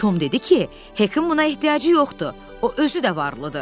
Tom dedi ki, Hekə buna ehtiyacı yoxdur, o özü də varlıdır.